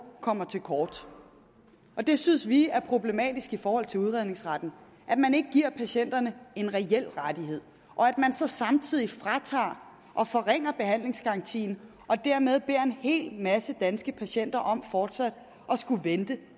kommer til kort det synes vi er problematisk i forhold til udredningsretten at man ikke giver patienterne en reel rettighed og at man så samtidig fratager og forringer behandlingsgarantien og dermed beder en hel masse danske patienter om at skulle vente